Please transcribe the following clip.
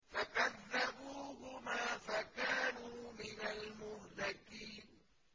فَكَذَّبُوهُمَا فَكَانُوا مِنَ الْمُهْلَكِينَ